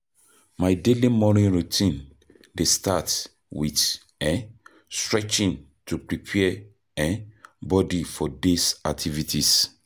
My daily morning routine dey start with um stretching to prepare um body for day's activities.